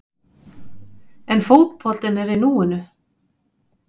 En fótboltinn er í núinu.